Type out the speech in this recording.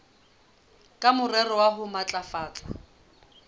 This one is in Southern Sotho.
ka morero wa ho matlafatsa